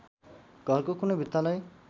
घरको कुनै भित्तालाई